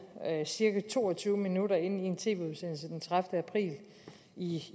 cirka to og tyve minutter inde i en tv udsendelse den tredivete april i